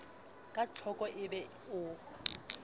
ka tlhoko e be o